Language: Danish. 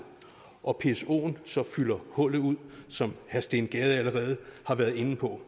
og psoen så fylder hullet ud som herre steen gade allerede været inde på